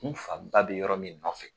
N farida bɛ yɔrɔ min kɔfɛ